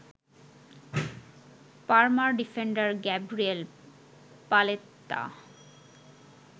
Parmar defender Gabriel Paletta